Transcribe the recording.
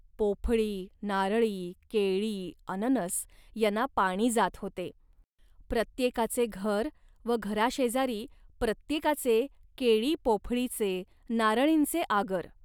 पोफळी, नारळी, केळी, अननस यांना पाणी जात होते. प्रत्येकाचे घर व घराशेजारी प्रत्येकाचे केळीपोफळीचेनारळींचे आगर